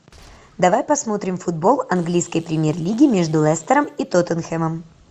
давай посмотрим футбол английской премьер лиги между лестером и тоттенхэмом